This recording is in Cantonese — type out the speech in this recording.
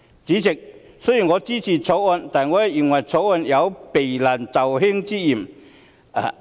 主席，我雖然支持《條例草案》，但認為《條例草案》有避難就易之嫌。